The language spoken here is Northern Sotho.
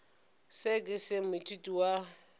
seo ke se moithuti wa